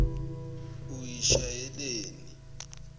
uyishayeleni